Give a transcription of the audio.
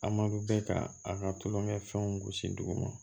A ma bɛ ka a ka tulonkɛ fɛnw gosi dugu ma